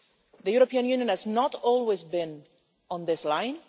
The European Union has not always been on this line.